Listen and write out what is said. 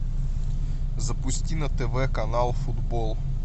запусти на тв канал футбол